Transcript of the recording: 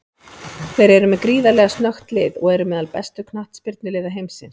Þeir eru með gríðarlega snöggt lið og eru meðal bestu knattspyrnuliða heimsins.